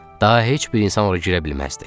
Daha heç bir insan ora girə bilməzdi.